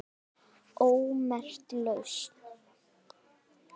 ómerkt lausn